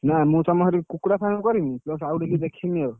ନାଁ ମୁଁ ତମ ସେଠି କୁକୁଡ଼ା farm କରିବି plus ଆଉ ଟିକେ ଦେଖିବି ଆଉ।